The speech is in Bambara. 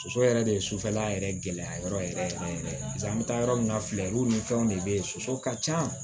Soso yɛrɛ de ye sufɛla yɛrɛ gɛlɛya yɔrɔ yɛrɛ yɛrɛ yɛrɛ yɛrɛ ye paseke an bɛ taa yɔrɔ min na filɛyuw ni fɛnw de bɛ ye soso ka ca